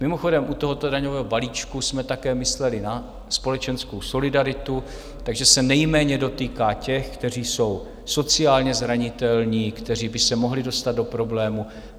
Mimochodem, u tohoto daňového balíčku jsme také mysleli na společenskou solidaritu, takže se nejméně dotýká těch, kteří jsou sociálně zranitelní, kteří by se mohli dostat do problémů.